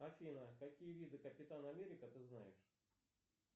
афина какие виды капитан америка ты знаешь